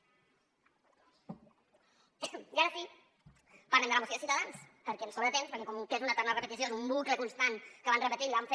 i ara sí parlem de la moció de ciutadans perquè ens sobra temps perquè com que és una eterna repetició és un bucle constant que van repetint i van fent